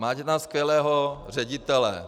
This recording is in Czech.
Máte tam skvělého ředitele.